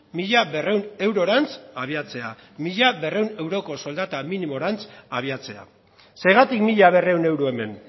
mila berrehun eurorantz abiatzea mila berrehun euroko minimorantz abiatzea zergatik mila berrehun euro hemen